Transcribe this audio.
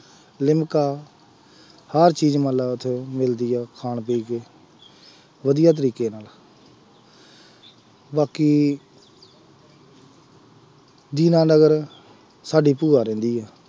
ਲਿਮਕਾ, ਹਰ ਚੀਜ਼ ਮੰਨ ਲਾ ਵੈਸੇ ਮਿਲਦੀ ਆ ਖਾਣ ਪੀਣ ਦੀ, ਵਧੀਆ ਚੀਜ਼ ਬਾਕੀ, ਦੀਨਾਨਗਰ ਸਾਡੀ ਭੂਆ ਰਹਿੰਦੀ ਆ,